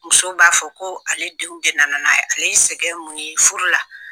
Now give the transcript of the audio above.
Muso b'a fɔ ko ale denw de na na n'a ye ale ye sɛgɛn mun ye furu la.